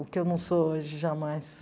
O que eu não sou hoje, jamais.